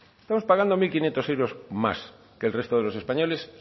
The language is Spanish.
estamos pagando mil quinientos euros más que el resto de los españoles